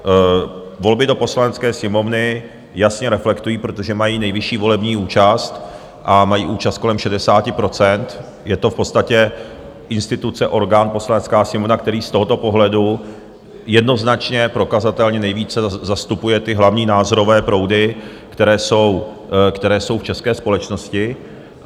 Volby do Poslanecké sněmovny jasně reflektují, protože mají nejvyšší volební účast, mají účast kolem 60 %, je to v podstatě instituce, orgán, Poslanecká sněmovna, který z tohoto pohledu jednoznačně prokazatelně nejvíce zastupuje ty hlavní názorové proudy, které jsou v české společnosti.